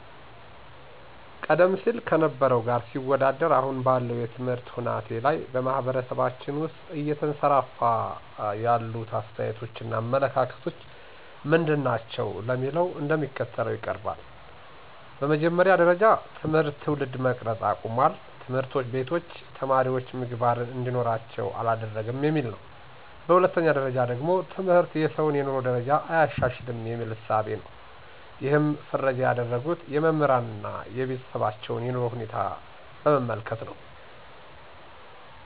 ቀደም ሲል ከነበረው ጋር ሲወዳደር አሁን ባለው የትምህርት ሁናቴ ላይ በማህበረሰባችን ውስጥ እየተንሰራፋ ያሉት አስተያየቶች እና አመለካከቶች ምንድናቸው ለሚለው እንደሚከተለው ይቀርባል፦ በመጀመሪያ ጀረጃ ትምህርት ትውልድ መቅረጽ አቁሟል፣ ትምህርቶች ቤቶች ተማሪወች ምግባርን እንዲኖራቸው አላደረገም የሚል ነው። በሁለተኛ ደረጃ ደግሞ ትምህርት የሰውን የኑሮ ደረጃ አያሻሽልም የሚል እሳቤ ነው ይሕንም ፍረጃ ያደረጉት የመምህራንን አና የቤተሰባቸውን የኑሮ ሁኔታ በመመልከት ነው።